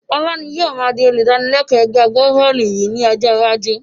Ọlá ni ó má di olùdánilẹ́kọ̀ ẹgbẹ́ agbá-bọ́ọ́lù yìí ni ọjọ́ iwájú